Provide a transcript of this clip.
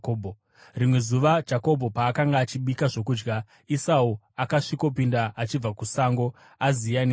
Rimwe zuva Jakobho paakanga achibika zvokudya, Esau akasvikopinda achibva kusango, aziya nenzara!